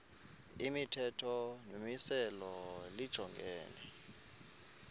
imithetho nemimiselo lijongene